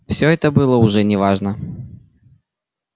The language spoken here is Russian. всё это было уже не важно